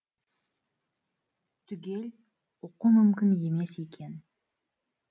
түгел оқу мүмкін емес екен